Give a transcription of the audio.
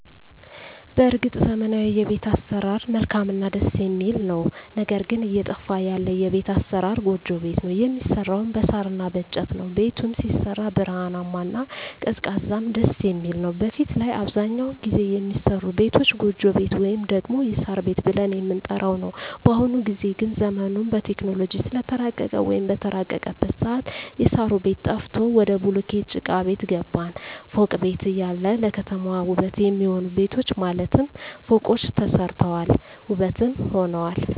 በርግጥ ዘመናዊዉ የቤት አሰራር መልካምእና ደስ የሚል ነዉ ነገር ግን እየጠፋ ያለ የቤት አሰራር ጎጆ ቤት ነዉ የሚሰራዉም በሳር እና በእንጨት ነዉ ቤቱም ሲሰራ ብርሃናማ እና ቀዝቃዛም ደስየሚል ነዉ በፊት ላይ አብዛኛዉን ጊዜ የሚሰሩ ቤቶች ጎጆ ቤት ወይም ደግሞ የሳር ቤት ብለን የምንጠራዉ ነዉ በአሁኑ ጊዜ ግን ዘመኑም በቴክኖሎጂ ስለተራቀቀ ወይም በተራቀቀበት ሰአት የእሳሩ ቤት ጠፍቶ ወደ ቡሉኬት ጭቃቤት ገባን ፎቅ ቤት እያለ ለከተማዋ ዉበት የሚሆኑ ቤቶች ማለትም ፎቆች ተሰርተዋል ዉበትም ሆነዋል